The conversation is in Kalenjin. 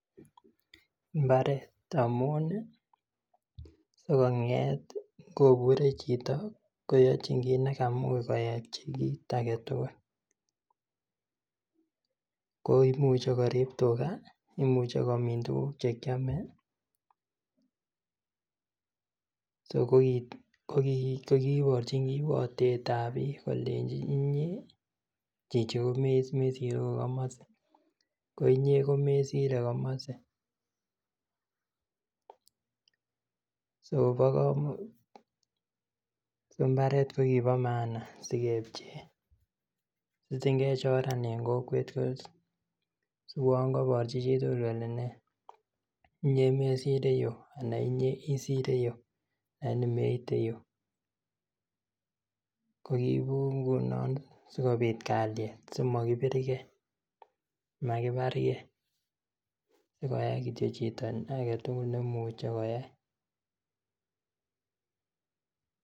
Mbaret amun ih sikong'et ih ngobure chito koyochin kit nekamuch koyochi kit aketugul komuche koriib tuga imuche komin tuguk chekiome so koit kiborchi kiwotetab bik kalenji inye komesiru komasi koinye komesire komasi so koba koman mbaret kiba maana sikebchee sitigin kechoran en kokwet siuon koborchi chi tugul kole ne inye mesire yu anan inye isire yu alini meite yu kokiibu ngunon sikobit kaliet simokibirge simokibarge sikoyai kityo chito agetugul nemuche koyai.